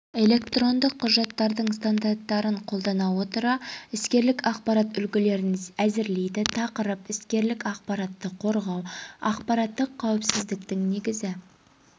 электрондық құжаттардың стандарттарын қолдана отыра іскерлік ақпарат үлгілерін әзірлейді тақырып іскерлік ақпаратты қорғау ақпараттық қауіпсіздіктің негізгі